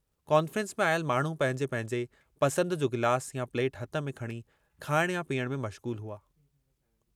Conference में आयल माण्हू पंहिंजे पंहिंजे पसंद जो गिलास या प्लेट हथ में खणी खाइण या पीअण में मश्ग़ूलु हुआ।